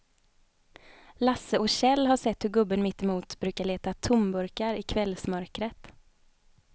Lasse och Kjell har sett hur gubben mittemot brukar leta tomburkar i kvällsmörkret.